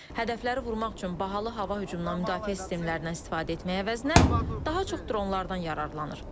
Hədəfləri vurmaq üçün bahalı hava hücumundan müdafiə sistemlərindən istifadə etmək əvəzinə, daha çox dronlardan yararlanır.